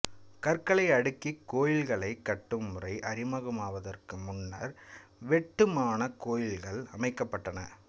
கற்களை அடுக்கிக் கோயில்களைக் கட்டும் முறை அறிமுகமாவதற்கு முன்னர் வெட்டுமானக் கோயில்கள் அமைக்கப்பட்டன